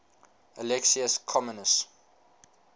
alexius comnenus